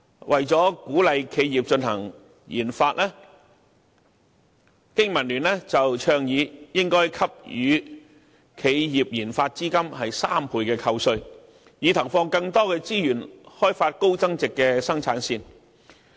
為了鼓勵企業進行研發，經民聯倡議應該給予企業研發資金3倍扣稅，以投放更多資源開發高增值生產線。